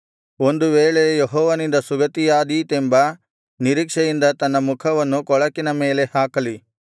ಒಂದು ವೇಳೆ ಯೆಹೋವನಿಂದ ಸುಗತಿಯಾದೀತೆಂಬ ನಿರೀಕ್ಷೆಯಿಂದ ತನ್ನ ಮುಖವನ್ನು ಕೊಳಕಿನ ಮೇಲೆ ಹಾಕಲಿ